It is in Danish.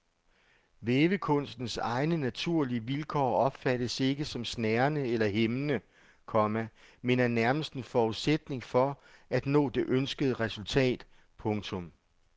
Vævekunstens egne naturlige vilkår opfattes ikke som snærende eller hæmmende, komma men er nærmest en forudsætning for at nå det ønskede resultat. punktum